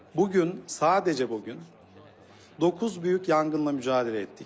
Bu gün sadəcə bu gün doqquz böyük yanğınla mübarizə etdik.